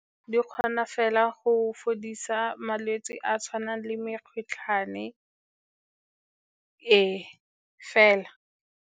Di kgona fela go fodisa malwetse a a tshwanang le mekgotlhwane, ee, fela.